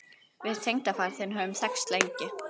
Við tengdafaðir þinn höfum þekkst lengi.